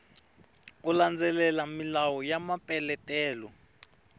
u landzelela milawu ya mapeletelo